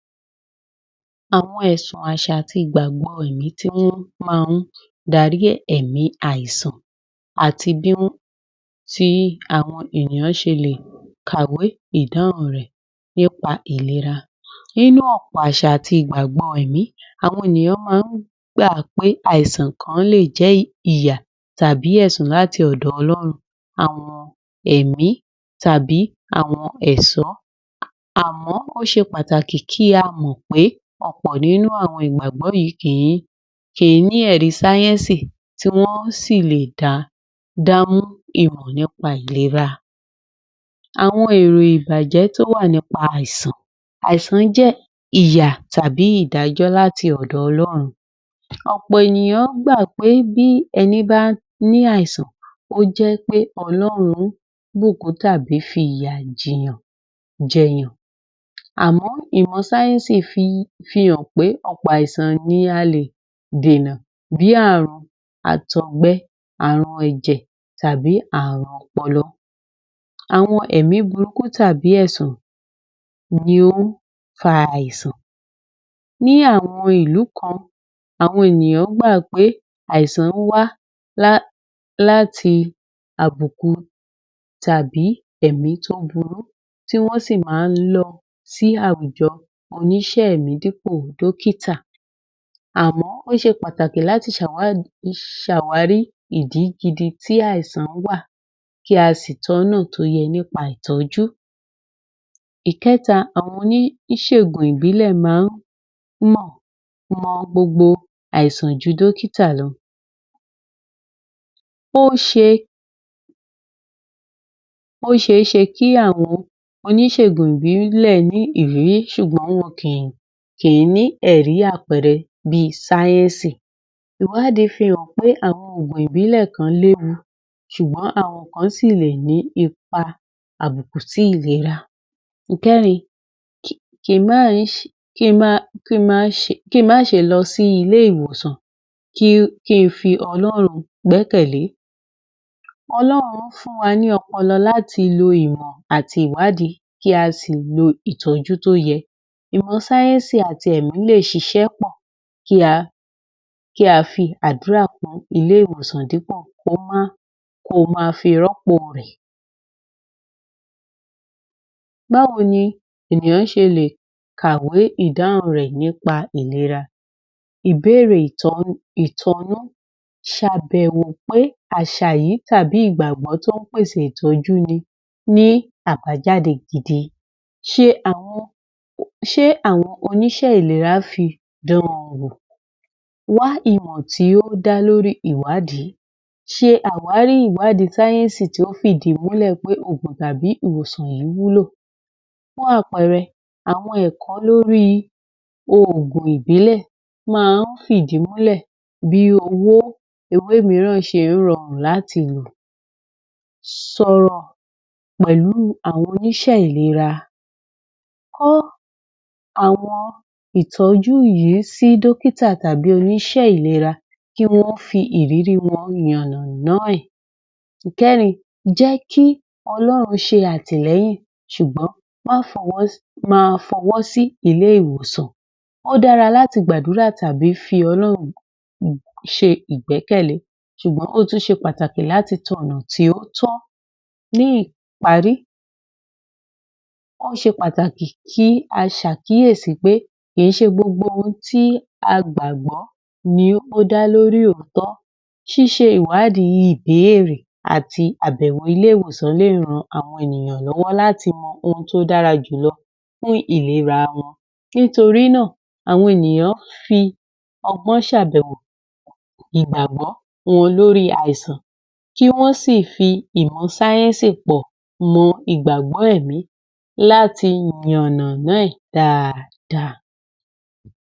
Àwọn ẹ̀sùn, àṣà àti ìgbàgbọ́ ẹ̀mí tí wọ́n máa ń darí èmí àìsàn àti bí àwon ènìyàn ṣe lè kàwé ìdáhùn rẹ̀ nípa ìlera. Nínú ọ̀pọ̀ àṣà àti ìgbàgbọ́ ẹ̀mí, àwọn ènìyàn máa ń gbà pé àwọn àìsàn kan lè jẹ́ ìyà tàbí ẹ̀sùn láti ọ̀dọ̀ Olórun. Àwọn ẹ̀mí tàbí àwọn ẹ̀ṣó, àmọ́ o se pàtàkì kí á mọ̀ pé ọ̀pọ̀ nínú àwọn ìgbàgbọ́ yìí kìí ní ẹ̀rí sáyẹ́ńsì, tí wọ́n sì lè dá mọ́ ìmọ̀ nípa ìlera. Àwọn èrè ìbàjẹ́ tó wà nípa àìsàn Àìsàn jẹ̀ ìyà tàbí ìdájọ́ láti ọ̀dọ̀ Ọlọ́run. Ọ̀pọ̀ ènìyàn gbà pé bí ẹní bá ní àìsàn, ó jẹ́ pẹ́ Ọlọ́run bùkún tàbí fi ìyà jẹ̀yàn, àmọ̀ ìmọ̀ sáyẹ́ńsì fi hàn pé ọ̀pọ̀ àìsàn ni a lè dènà, bí i àrùn àtọ̀gbẹ, àrùn ẹ̀jẹ̀ tàbí àrùn ọpọlọ. Àwọn ẹ̀mí burúkú tàbí ẹ̀sùn ni ó fa àìsàn. Ní àwọn ilú kan, àwọn ènìyàn gbà pé àìsàn wá láti àbùkù tàbí ẹ̀mí tó burú, tí wọ́n sì máa ń lọ sí àwùjọ oníṣẹ́ ẹ̀mí dípò dọ́kítà. Àmọ́ ó ṣe pàtàkì láti ṣ’àwárí ìdí gidi tí àìsàn wà, kí a sì tọ́nà tó yẹ nípa ìtọ́jú. Ìkẹta, àwọn oní ìṣègùn ìbílẹ̀ máa ń mọ gbogbo àìsàn ju dókítà lọ. Ó ṣeé ṣe kí àwọn oníṣègùn ìbílẹ̀ ní ìrírí, ṣùgbọ́n wọn kìí ní ẹ̀rí àpẹẹrẹ bí i sáyẹ́ńsì. Ìwádìí fi hàn pé àwọn ògùn ìbílẹ̀ kan léwu ṣùgbọ́n àwọn kan sì lè ní ipa àbùkù si ìlera. Ìkẹrin, kí n má ṣe lọ sí ilẹ́ ìwòsan, kí n fi Ọlọ́run gbẹ́kẹ̀ lé. Ọlọ́run fún wa ní ọpọlọ láti lo ìmọ̀ àti ìwádìí, kí á sì lo ìtọ́jú tó yẹ. Ìmọ̀ sáyẹ́ńsì àti ẹ̀mí lè ṣiṣẹ́ pọ̀, kí a fi àdúrà kún ilé ìwòsàn, dípò kí o máa fi rọ́pò rẹ̀. Báwo ni ènìyàn ṣe lè kawé ìdáhùn rè nípa ìlera? Ìbéèrè ìtọ́ná Ṣ’àbẹ̀wò pé àṣà yìí tàbí ìgbàgbọ́ tó ń pèsè ìtọju ní àbájáde gidi. Ṣé àwọn oníṣẹ́ ìlera fi dán-an wò? Wá ìmọ̀ tí ó dá lórí ìwádìí. Ṣe àwárí ìwádìí sáyẹ́ńsì tó fìdí múlẹ̀ pé òògùn tàbí ìwòsàn yìí wúló. Fún àpẹẹrẹ, àwọn ẹ̀kọ́ lórí òògùn ìbílẹ̀ máa ń fidí múlẹ bí ewé míràn ṣe ń rọrùn láti lò. Sọ̀rọ̀ pẹ̀lú àwọn oníṣé ìlera. Kọ́ àwọn ìtọ́jú yìí sí dọ́kítà tàbí oníṣé ìlera kí wọ́n fi ìrírí wọn yànàna ẹ. Ìkẹrin, jẹ́ kí Ọlọ́run ṣe àtìlẹ́yìn, ṣùgbọ́n máa fọwọ́ sí ilé ìwòsàn. Ó dára láti gbàdúrà tàbí fi Ọlọ́run ṣe ìgbẹ́kẹ̀lé, ṣùgbọ́n ó tún ṣe pàtàkì láti tọ ọ̀nà tí ó tọ́. Ní ìparí, ó ṣe pàtàkì kí á ṣàkíyèsí pé kìí ṣe gbogbo ohun tí a gbàgbọ́ ni ó dá lórí oótọ́. Ṣíṣe ìwádìí, ìbéèrè àti àbẹ̀wò ilé ìwọ̀sàn lè ran àwọn ènìyàn lọ́wọ́ láti mọ ohun tó dára jù lọ fún ìlera wọn. Nítorí náà, àwọn ènìyàn fi ọgbọ́n ṣ’àbẹ̀wò ìgbàgbọ́ wọn lórí àìsàn, kí wọ́n sì fi ìmọ̀ sáyẹ́ńsì pọ̀ mọ́ ìgbàgbọ́ ẹ̀mí láti yànàna ẹ dáadáa.